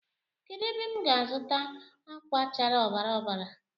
Kedu ebe m ga-azuta akwa chárá ọbara ọbara